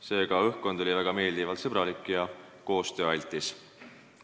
Seega oli õhkkond väga meeldivalt sõbralik ja koostööaldis.